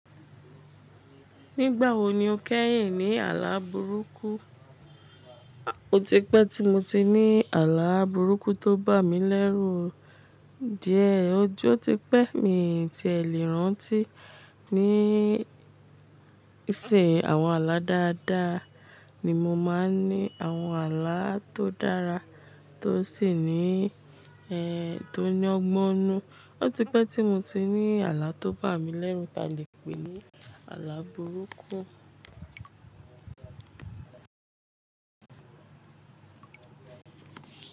Nígbà wo ni o kẹ́yìn ní àlá burúkú? Ó ti pẹ́ tí mo ti ní àlá burúkú tó bà mí lẹ́rù díẹ̀. Ojo ti pẹ́, mi ti ẹ̀ lẹ̀ rántí ní ìsìn àwọn àlá dáadáa ni mo máa ń ní àwọn àlá tó dára tó sì ní, ẹ, tó ní ọgbọ́nnu. Ó ti pẹ́ tí mo ti ní àlá tó bà mí lẹ́rù ta lè pè ní àlá burúkú.